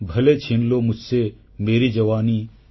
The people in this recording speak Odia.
ଭଲେ ଛିନ୍ ଲୋ ମୁଝସେ ମେରୀ ଯବାନୀ